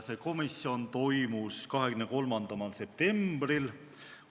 Komisjoni istung toimus 23. septembril.